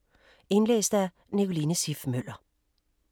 Indlæst af: